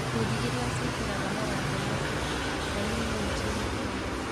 Ikundi iria ciĩkagĩra mawatho macio: e-Limu nchini Kenya